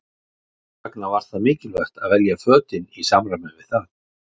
Þess vegna var það mikilvægt að velja fötin í samræmi við það.